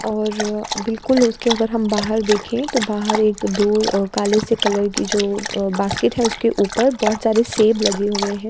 और बिलकुल उसकी अगर हम बाहर देखे तो बाहर एक दूर काले से कलर की जो बास्केट है उसके ऊपर बहुत सारे सेब लगे हुए है।